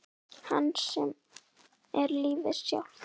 Hans sem er lífið sjálft.